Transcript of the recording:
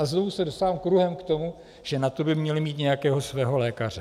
A znovu se dostávám kruhem k tomu, že na to by měli mít nějakého svého lékaře.